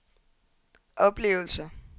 oplevelser